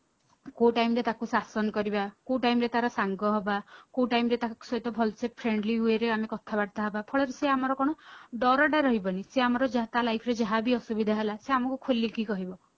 କୋଉ time ରେ ତାଙ୍କୁ ଶାସନ କରିବା କୋଉ time ରେ ତାର ସାଙ୍ଗ ହବା କୋଉ time ରେ ତାଙ୍କ ସହିତ friendly way ରେ ଆମେ କଥାବାର୍ତ୍ତା ହବା ଫଳରେ ସେ ଆମର କଣ ଡର ଟା ରହିବ ନି ସେ ଆମର ତାହା life ରେ ଯାହା ବି ଅସୁବିଧା ହେଲା ସେ ଆମକୁ ଖୋଲିକି କହିବ